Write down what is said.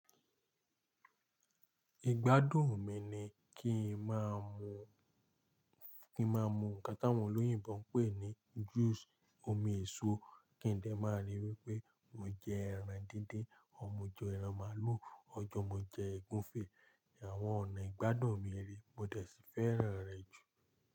Ìgbádùn mi ni kí n má a mu, kí n má a mu nǹkan táwọn olóyìn bá ń pè ní juice omi èso kí n lè má a ri wípé mo jẹ ẹran díndín, or mọ́ jẹ ẹran màlúù, ọjọ́ mo jẹ ègúnfẹ̀. Àwọn ọ̀nà ìgbádùn mi rèé Mo dẹ̀ sì fẹ́ràn rẹ̀ jù.